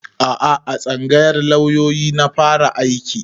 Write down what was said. A'a a tsangayar lauyoyi na fara aiki